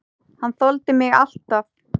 Hann þoldi mig alltaf.